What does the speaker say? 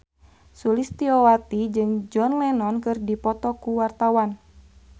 Sulistyowati jeung John Lennon keur dipoto ku wartawan